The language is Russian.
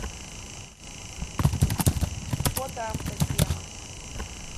фото автотема